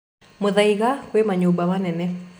Muthaiga kwĩ manyũmba manene.